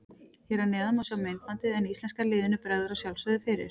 Hér að neðan má sjá myndbandið en íslenska liðinu bregður að sjálfsögðu fyrir.